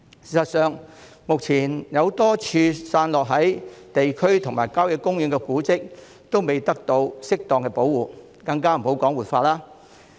事實上，目前多個散落在各區和郊野公園的古蹟，仍未得到適當保護，更莫說活化。